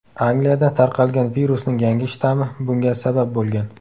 Angliyada tarqalgan virusning yangi shtammi bunga sabab bo‘lgan.